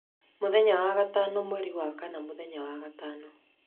mũthenya wa gatano mweri wa kana mũthenya wa gatano